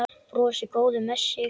Brosir, góður með sig.